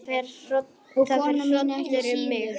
Það fer hrollur um mig.